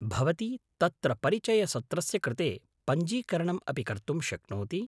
भवती तत्र परिचयसत्रस्य कृते पञ्जीकरणम् अपि कर्तुं शक्नोति।